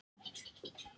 Laxfoss